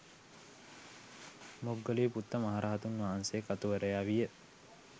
මොග්ගලීපුත්ත මහරහතන් වහන්සේ කතුවරයා විය.